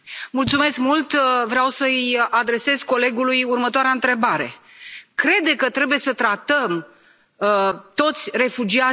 Vreau să i adresez colegului următoarea întrebare crede că trebuie să tratăm toți refugiații la fel?